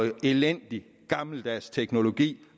en elendig gammeldags teknologi